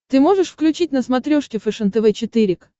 ты можешь включить на смотрешке фэшен тв четыре к